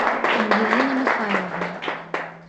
ангелины михайловны